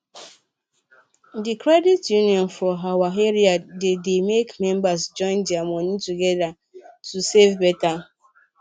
the credit union for our area dey dey make members join their money together to save better